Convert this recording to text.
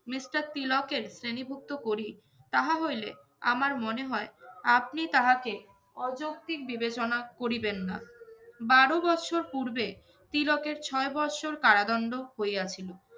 mister তিলকের শ্রেণীভুক্ত করি তাহা হইলে আমার মনে হয় আপনি তাহাকে অযৌক্তিক বিবেচনা করিবেন না। বারো বৎসর পূর্বে তিলকের ছয় বৎসর কারাদণ্ড হইয়াছিল।